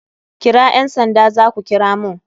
Kira ƴan sanda zaku kira mun..